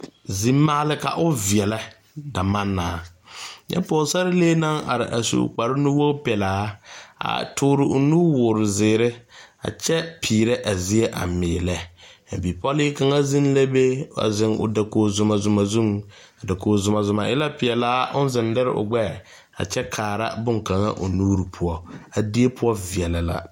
Zimaale ka o veɛlɛ damannaa, nyɛ pɔgesarele naŋ are a su kpar wogi pɛlaa a toori nuwoori zeɛre, a kyɛ peɛre a zie a miillɛ, ka bipɔlle kaŋa zeŋ la be a zeŋ o dakogi Zuma Zuma zu, a dakogi Zuma Zuma e la peɛlaa ɔŋ zeŋ leri o gbɛɛ a kyɛ kaara bonkaŋa o nuuri poɔ, a die poɔ veɛlɛ la.